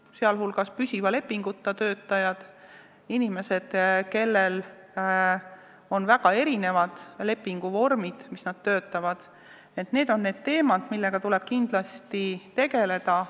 Nende inimeste hulgas on püsiva lepinguta töötajad, inimesed, kes töötavad väga erinevate lepinguvormide alusel – need on need teemad, millega tuleb kindlasti tegeleda.